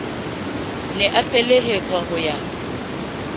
ne a felehetswa ho ya